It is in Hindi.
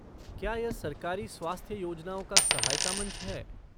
क्या यह सरकारी स्वास्थ्य योजनाओं का सहायता मंच है?